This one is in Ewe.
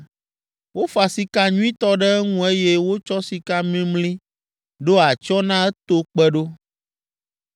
Wofa sika nyuitɔ ɖe eŋu eye wotsɔ sika mimli ɖo atsyɔ̃ na eto kpe ɖo.